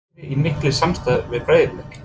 Er liðið í miklu samstarfi við Breiðablik?